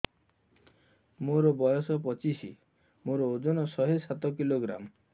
ମୋର ବୟସ ପଚିଶି ମୋର ଓଜନ ଶହେ ସାତ କିଲୋଗ୍ରାମ